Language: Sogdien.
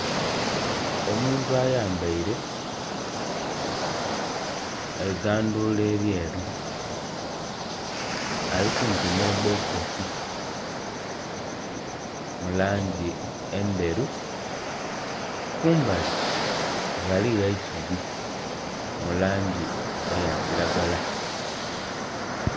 Omuntu ayambaile eigandhuula elyeru ali kumpi nh'ebbokisi mu langi endheru. Kumbali ghaligho eisubi mu langi eya kilagala.